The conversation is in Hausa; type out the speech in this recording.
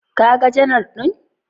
Kaga janar ɗin?